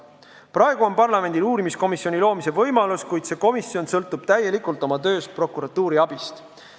Praegu on parlamendil uurimiskomisjoni loomise võimalus, kuid see komisjon sõltub oma töös täielikult prokuratuuri abist.